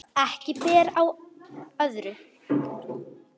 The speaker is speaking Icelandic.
Ekki ber á öðru